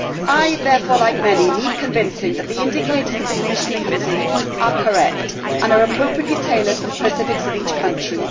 I, therefore like many need convincing that the indicators that the Commission is using are correct and are appropriately tailored to the specifics of each country.